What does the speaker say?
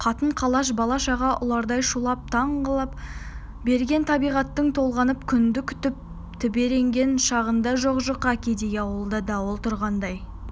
қатын-қалаш бала-шаға ұлардай шулап таң қылаң берген табиғаттың толғанып күнді күтіп тебіренген шағында жоқ-жұқа кедей ауылда дауыл тұрғандай